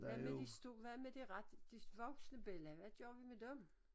Hvad med de hvad med det ret de voksne bella hvad gør vi med dem?